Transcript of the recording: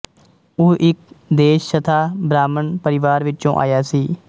ਉਹ ਇੱਕ ਦੇਸ਼ਸਥਾ ਬ੍ਰਾਹਮਣ ਪਰਿਵਾਰ ਵਿੱਚੋਂ ਆਇਆ ਸੀ